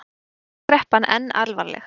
Skuldakreppan enn alvarleg